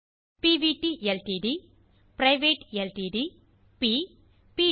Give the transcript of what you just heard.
பிவிடி LTD private LTD ப் ப்